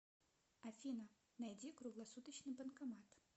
афина найди круглосуточный банкомат